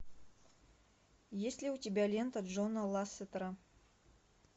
есть ли у тебя лента джона лассетера